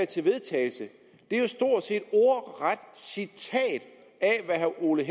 til vedtagelse er jo stort set et ordret citat af hvad herre ole